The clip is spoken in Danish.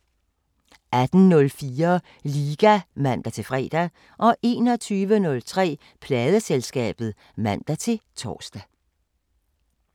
18:04: Liga (man-fre) 21:03: Pladeselskabet (man-tor)